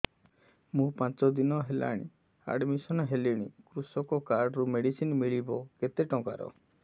ମୁ ପାଞ୍ଚ ଦିନ ହେଲାଣି ଆଡ୍ମିଶନ ହେଲିଣି କୃଷକ କାର୍ଡ ରୁ ମେଡିସିନ ମିଳିବ କେତେ ଟଙ୍କାର